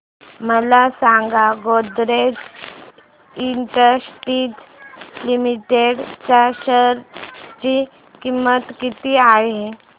मला सांगा Godrej industries limited च्या शेअर ची किंमत किती आहे